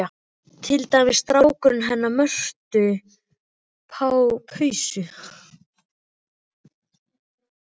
Til dæmis strákurinn hennar Mörtu hans Pusa.